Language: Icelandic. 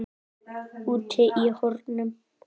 Úti í hornum.